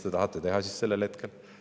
Või mis te tahate teha sellel hetkel?